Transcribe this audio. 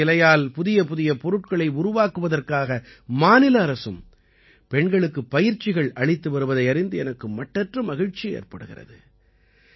புரச இலையால் புதியபுதிய பொருட்களை உருவாக்குவதற்காக மாநில அரசும் பெண்களுக்குப் பயிற்சிகள் அளித்து வருவதை அறிந்து எனக்கு மட்டற்ற மகிழ்ச்சி ஏற்படுகிறது